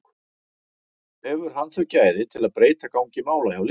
Hefur hann þau gæði til að breyta gangi mála hjá liðinu?